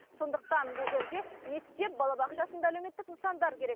сондықтан бұл жерге мектеп балабақша сынды әлеуметтік нысандар керек